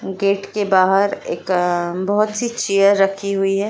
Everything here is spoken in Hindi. गेट के बाहर एक अ बहुत सी चेयर रखी हुई है।